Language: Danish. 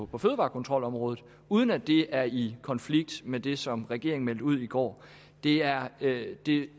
på fødevarekontrolområdet uden at det er i konflikt med det som regeringen meldte ud i går det er det er